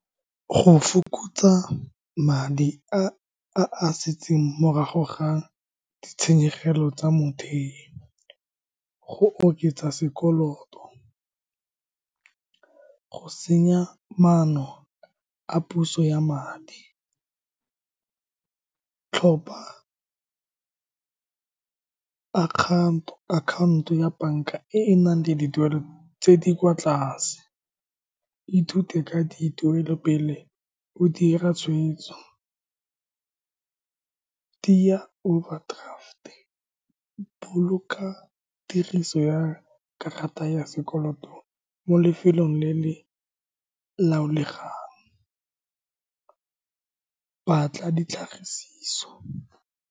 Go fokotsa madi a a setseng morago ga ditshenyegelo tsa mothei, go oketsa sekoloto, go senya maano a puso ya madi. Tlhopa account-o ya banka e e nang le dituelo tse di kwa tlase. Ithute ka dituelo pele o dira tshwetso. Tiya overdraft-e, boloka tiriso ya karata ya sekoloto mo lefelong le le laolegang, batla ditlhagisiso.